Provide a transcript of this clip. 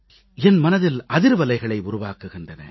என் மனதில் அதிர்வலைகளை உருவாக்குகின்றன